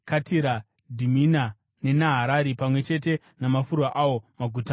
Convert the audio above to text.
Dhimina neNaharari, pamwe chete namafuro awo, maguta mana;